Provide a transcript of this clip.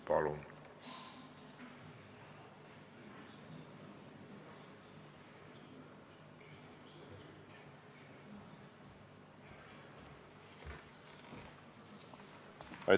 Palun!